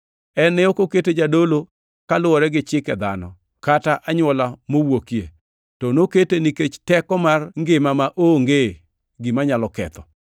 En ne ok okete jadolo kaluwore gi chike dhano kata anywola mowuokie, to nokete nikech teko mar ngima maonge gima nyalo ketho.